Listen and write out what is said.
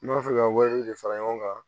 N b'a fɛ ka wari de fara ɲɔgɔn kan